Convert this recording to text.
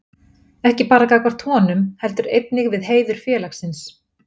Ekki bara gagnvart honum, heldur einnig við heiður félagsins.